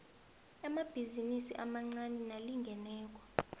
amabhizinisi amancani nalingeneko